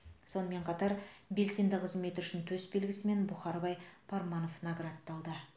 сонымен қатар белсенді қызметі үшін төсбелгісімен бұхарбай парманов наградталды